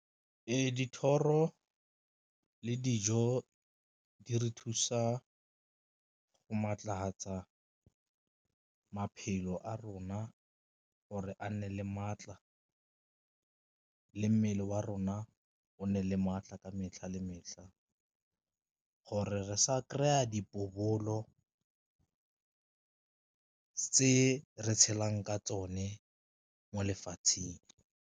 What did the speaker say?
Ee, dithoro le dijo di re thusa go maatlafatsa maphelo a rona gore a nne le maatla le mmele wa rona o nne le maatla ka metlha le metlha, gore re sa kry-a bopobolo re tshelang ka tsone mo lefatsheng.